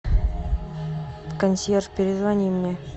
консьерж перезвони мне